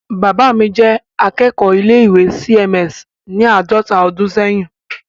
Bàbá mi jẹ́ akẹ́kọ̀ọ́ ilé-ìwé C.M.S. ní àádọta ọdún ṣẹ́yìn.